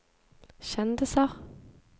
kjendiser